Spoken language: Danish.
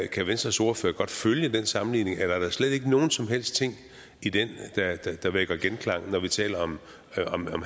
kan venstres ordfører godt følge den sammenligning eller er der slet ikke nogen som helst ting i den der vækker genklang når vi taler om